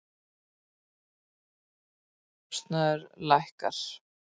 Lyfjakostnaður lækkar